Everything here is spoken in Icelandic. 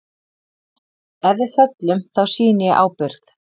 Ef við föllum þá sýni ég ábyrgð.